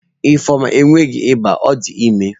Ifeoma enweghi iba,o di ime